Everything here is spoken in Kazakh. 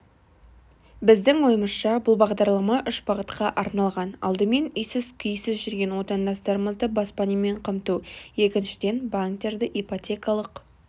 біздің ойымызша бұл бағдарлама үш бағытқа арналған алдымен үйсіз-күйсіз жүрген отандастарымызды баспанамен қамту екіншіден банктерді ипотекалық